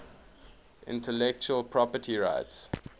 intellectual property rights